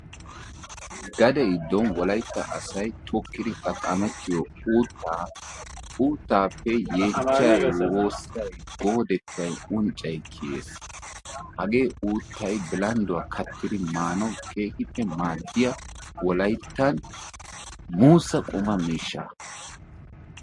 Gadde giddon wolaytta asay tokiddi xaqamettiyo uuttaa, uuttappe yechchay, wossay, goodettay, unccay kiyees. Haagge uuttay billanduwaa kattidi maanawu keehippe wolayttan maadiya muussa qumma miishsha.